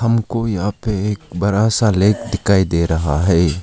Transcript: हमको यहां पे एक बड़ा सा लेक दिखाई दे रहा है।